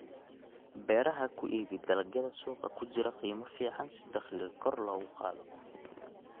Beeraha Ku iibi dalagyada suuqa ku jira qiimo fiican si dakhliga kor loogu qaado.